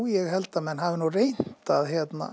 ég held að menn hafi nú reynt að